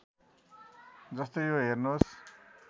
जस्तै यो हेर्नुहोस्